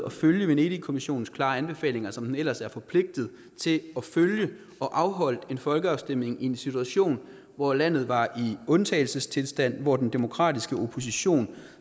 at følge venedigkommissionens klare anbefalinger som den ellers er forpligtet til at følge og afholdt en folkeafstemning i en situation hvor landet var i undtagelsestilstand hvor den demokratiske opposition